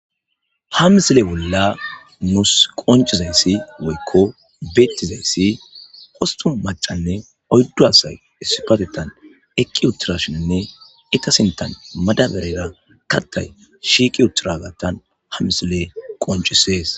ha misile bolla nuus qoncizayssi woykko beettizayssi hostun macanne oyddu asay esipatetan eqqi utturashinne ita sintan madaberera kattay shiiqi uttura gattan ha misile qoncisees